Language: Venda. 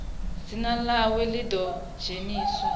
dzina ḽawe ḽi ḓo dzheniswa